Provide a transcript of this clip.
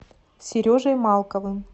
сережей малковым